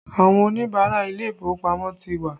Àwọn Oníbàárà ilé ìfowópamọ́ ti wá